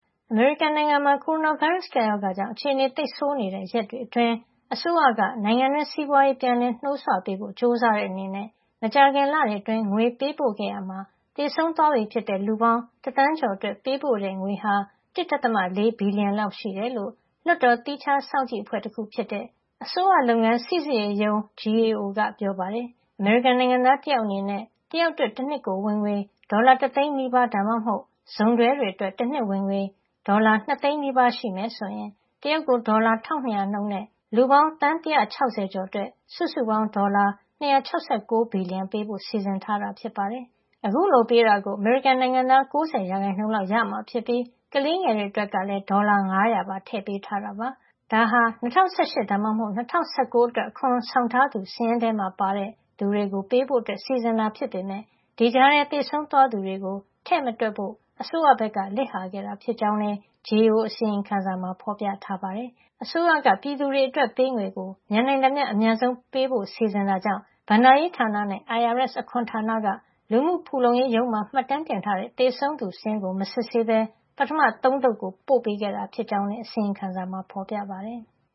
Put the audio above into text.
အမေရိကန်နိုင်ငံမှာ ကိုရိုနာဗိုင်းရပ်စ် ကပ်ရောဂါကြောင့် အခြေနေသိပ်ဆိုးနေတဲ့ ရက်တွေအတွင်း အစိုးရက နိုင်ငံတွင်း စီးပွားရေး ပြန်လည်နှိုးဆွပေးဖို့ ကြိုးစားတဲ့ အနေနဲ့ မကြာခင်လတွေ အတွင်း ငွေပေးပို့ ခဲ့ရာမှာ သေဆုံးသွားပြီဖြစ်တဲ့ လူပေါင်း တသန်းကျော် အတွက် ပေးပို့ တဲ့ ငွေဟာ ၁.၄ဘီလျံ လောက် ရှိတယ်လို့ လွှတ်တော်သီးခြားစောင့်ကြည့်အဖွဲ့တခု ဖြစ်တဲ့ အစိုးရလုပ်ငန်း စီစစ်ရေးရုံး GAO (Government Accountability Office) က ပြောပါတယ်။ အမေရိကန်နိုင်ငံသား တယောက် အနေနဲ့ တယောက်အတွက် တနှစ်ကို ဝင်ငွေ ဒေါ်လာ တသိန်းနီးပါး ( ၉၈,၀၀၀) ဒါမှမဟုတ် စုံတွဲ တွေ အတွက် ဝင်ငွေ တနှစ် ဒေါ်လာ ၂ သိန်းနီးပါး (၁၉၈,၀၀၀) ရှိမယ် ဆိုရင် တယောက်ကို ဒေါ်လာ ၁၂၀၀ နှုန်း နဲ့ လူပေါင်း သန်း ၁၆၀ ကျော် အတွက် စုစုပေါင်း ဒေါ်လာ ၂၆၉ ဘီလျံ ပေးဖို့ စီစဉ်ထားတာ ဖြစ်ပါတယ်။ အခုလို ငွေပေးတာကို အမေရိကန်နိုင်ငံသား ၉ ၀ % လောက် ရရှိကြမှာ ဖြစ်ပြီး ကလေးငယ်တွေ အတွက်လည်း ဒေါ်လာ ၅၀၀ ပါ ထည့်ပေးထားတာပါ။ ဒါဟာ ၂၀၁၈ ဒါမှမဟုတ် ၂၀၁၉ အတွက် အခွန်ဆောင်ထားသူ စာရင်းထဲမှာ ပါတဲ့ သူတွေကို ပေးဖို့ စီစဉ်တာ ဖြစ်ပေမယ့် ဒီကြားထဲ သေဆုံးသွားသူတွေကို ထည့်မတွက်ဖို့ အစိုးရဘက်က လစ်ဟာခဲ့တာ ဖြစ်ကြောင်းလည်း GAO အစီရင်ခံစာမှာ ဖေါ်ပြထားပါတယ်။ အစိုးရက ပြည်သူတွေ အတွက်ပေးငွေကို မြန်နိုင်သမျှ အမြန်ဆုံး ပေးဖို့ စီစဉ်တာကြောင့် ဘဏ္ဍာရေးဌာနနဲ့ IRS အခွန်ဌာနက လူမှုဖူလုံရေးရုံးမှာ မှတ်တမ်းထားတဲ့ သေဆုံးသူစာရင်းကို မစစ်ဆေးပဲ ပထမ ၃ သုတ်ကို ပို့ပေးခဲ့တာ ဖြစ်ကြောင်းလည်း အစီရင်ခံစာမှာ ဖေါ်ပြထားပါတယ်။